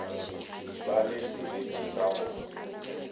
ba le sebete sa go